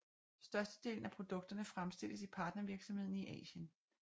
Størstedelen af produkterne fremstilles i partnervirksomheder i Asien